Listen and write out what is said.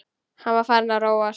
Hann var farinn að róast.